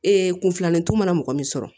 Ee kun filanintu mana mɔgɔ min sɔrɔ